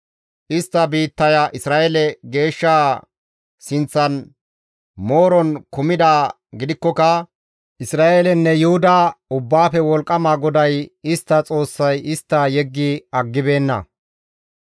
Istta biittaya Isra7eele Geeshsha sinththan mooron kumidaa gidikkoka Isra7eelenne Yuhuda Ubbaafe Wolqqama GODAY istta Xoossay istta yeggi aggibeenna.